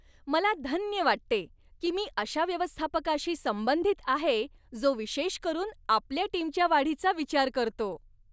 मला धन्य वाटते, की मी अशा व्यवस्थापकाशी संबंधित आहे जो विशेष करून आपल्या टीमच्या वाढीचा विचार करतो.